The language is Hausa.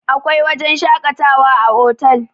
akwai wajen shakatawa a otal